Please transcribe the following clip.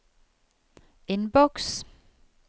innboks